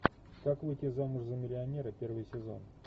как выйти замуж за миллионера первый сезон